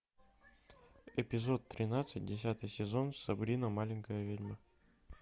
эпизод тринадцать десятый сезон сабрина маленькая ведьма